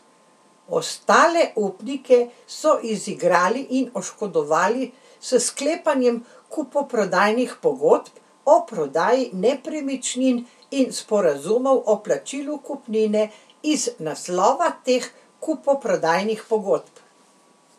Ostale upnike so izigrali in oškodovali s sklepanjem kupoprodajnih pogodb o prodaji nepremičnin in sporazumov o plačilu kupnine iz naslova teh kupoprodajnih pogodb.